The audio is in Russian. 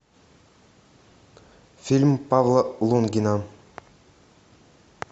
фильм павла лунгина